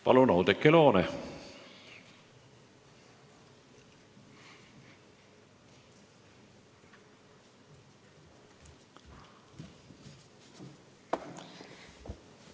Palun, Oudekki Loone!